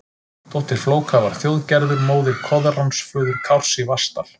Dóttir Flóka var Þjóðgerður, móðir Koðráns, föður Kárs í Vatnsdal.